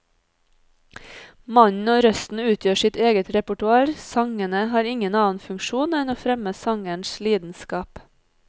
Mannen og røsten utgjør sitt eget repertoar, sangene har ingen annen funksjon enn å fremme sangerens lidenskap.